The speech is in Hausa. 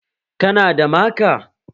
Ka na da maka?